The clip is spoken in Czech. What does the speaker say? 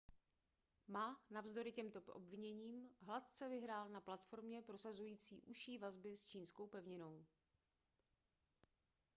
ma navzdory těmto obviněním hladce vyhrál na platformě prosazující užší vazby s čínskou pevninou